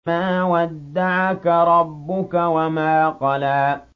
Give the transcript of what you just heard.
مَا وَدَّعَكَ رَبُّكَ وَمَا قَلَىٰ